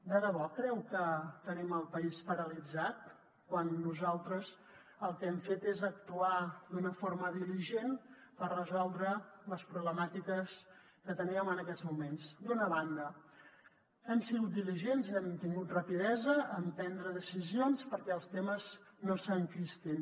de debò creu que tenim el país paralitzat quan nosaltres el que hem fet és actuar d’una forma diligent per resoldre les problemàtiques que teníem en aquests moments d’una banda hem sigut diligents hem tingut rapidesa en prendre decisions perquè els temes no s’enquistin